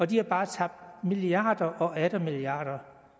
de har bare tabt milliarder og atter milliarder